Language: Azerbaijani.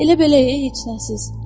Elə belə heç nəsiz.